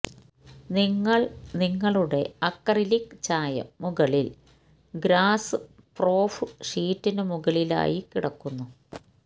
നിങ്ങൾ നിങ്ങളുടെ അക്രിലിക് ചായം മുകളിൽ ഗ്രാസ്പ്രോഫ് ഷീറ്റിനു മുകളിലായി കിടക്കുന്നു